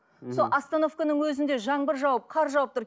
сол остановканың өзінде жаңбыр жауып қар жауып тұр